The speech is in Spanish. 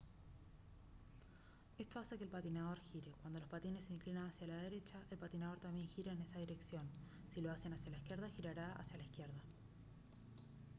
esto hace que el patinador gire cuando los patines se inclinan hacia la derecha el patinador también gira en esa dirección si lo hacen hacia la izquierda girará hacia la izquierda